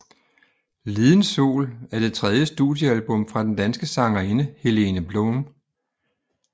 Liden Sol er det tredje studiealbum fra den danske sangerinde Helene Blum